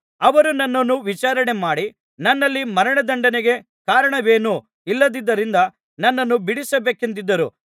ಅವರು ನನ್ನನ್ನು ವಿಚಾರಣೆಮಾಡಿ ನನ್ನಲ್ಲಿ ಮರಣದಂಡನೆಗೆ ಕಾರಣವೇನೂ ಇಲ್ಲದ್ದರಿಂದ ನನ್ನನ್ನು ಬಿಡಿಸಬೇಕೆಂದಿದ್ದರು